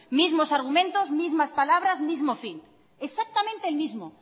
mismos argumentos mismas palabras mismo fin exactamente el mismo